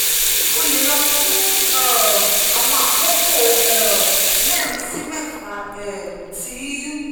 o le lọ fun um awọn akoko um merin si mẹfa um ti